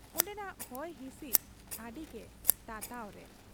ᱚᱱᱰᱮᱱᱟᱜ ᱦᱚᱭ ᱦᱤᱥᱤᱫ ᱟᱹᱰᱤᱜᱮ ᱛᱟᱛᱟᱣ ᱨᱮ ᱾